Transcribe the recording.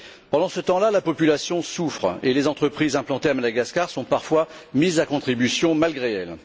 Pendant ce temps là, la population souffre et les entreprises implantées à Madagascar sont parfois mises à contribution malgré elles.